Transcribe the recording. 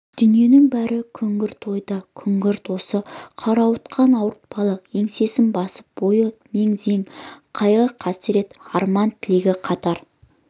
дүниенің бәрі күңгірт ойы да күңгірт осы қарауытқан ауыртпалық еңсесін басып бойы мең-зең қайғы-қасірет арман-тілегі қатар